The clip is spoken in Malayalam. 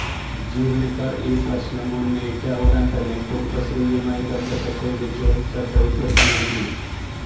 ജീവനക്കാര് ഈ പ്രശ്നം ഉന്നയിച്ച ഉടന് തന്നെ കുടുംബശ്രീയുമായി ബന്ധപ്പെട്ട് വിഷയം ശ്രദ്ധയില്പ്പെടുത്തിയിരുന്നു